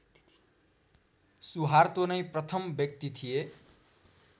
Suharto नै प्रथम व्यक्ति थिए